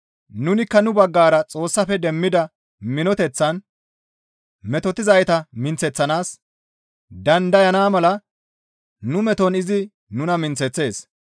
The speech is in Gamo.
Nunikka nu baggara Xoossafe demmida minoteththan metotetizayta minththeththanaas dandayana mala nu meton izi nuna minththeththees.